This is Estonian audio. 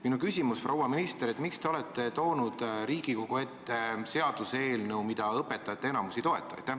Minu küsimus, proua minister, on järgmine: miks te olete toonud Riigikogu ette seaduseelnõu, mida enamik õpetajaid ei toeta?